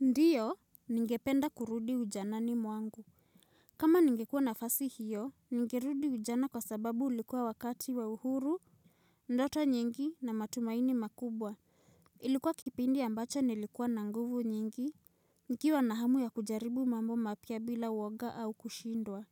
Ndio, ningependa kurudi ujanani mwangu. Kama ningekuwa na nafasi hiyo, ningerudi ujana kwa sababu ulikuwa wakati wa uhuru, ndoto nyingi na matumaini makubwa. Ilikuwa kipindi ambacho nilikuwa na nguvu nyingi, nikiwa na hamu ya kujaribu mambo mapya bila uoga au kushindwa.